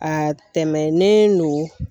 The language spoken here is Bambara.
A tɛmɛnen no